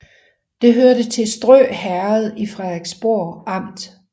Det hørte til Strø Herred i Frederiksborg Amt